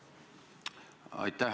Aitäh!